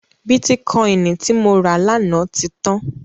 Bítíkọìnì tí mo rà lánàá ti tán.